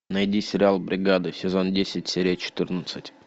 найди сериал бригада сезон десять серия четырнадцать